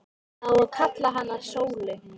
Það á að kalla hana Sólu.